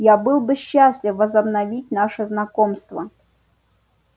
я был бы счастлив возобновить наше знакомство